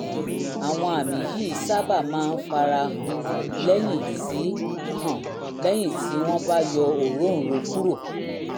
àwọn àmì yìí sábà máa ń fara hàn lẹ́yìn tí hàn lẹ́yìn tí wọ́n bá yọ òróǹro kúrò